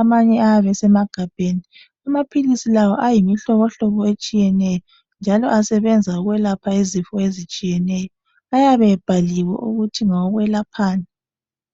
amanye ayabe esemagabheni. Amaphilisi la ayimihlobohlobo etshiyeneyo njalo asebenza ukwelapha izifo ezitshiyeneyo, ayabe ebhaliwe ukuthi ngawokwelaphani.